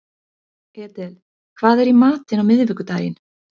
Edel, hvað er í matinn á miðvikudaginn?